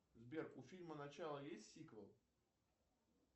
сбер у фильма начало есть сиквел